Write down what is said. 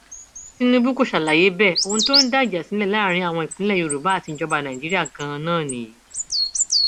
tinubu kò ṣàlàyé bẹẹ ohun tó ń dá ìjà sílẹ láàrin àwọn ìpínlẹ yorùbá àti ìjọba nàìjíríà ganan nìyí